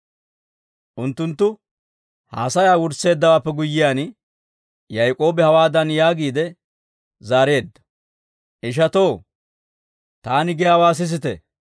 Unttunttu haasayaa wursseeddawaappe guyyiyaan, Yaak'oobi hawaadan yaagiide zaareedda; «Ishatoo, taani giyaawaa sisite.